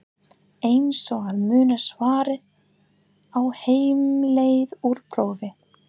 Eins og að muna svarið á heimleið úr prófi?